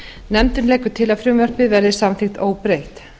nefndin leggur til að frumvarpið verði samþykkt óbreytt